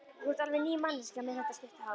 Þú ert alveg ný manneskja með þetta stutta hár!